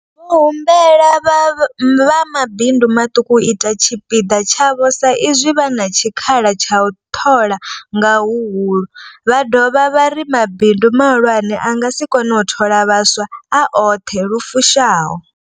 Vho humbela vha mabindu maṱuku u ita tshipiḓa tshavho sa izwi vha na tshikhala tsha u ṱhola nga huhulu, vha dovha vha ri mabindu mahulwane a nga si kone u thola vhaswa a oṱhe lu fushaho.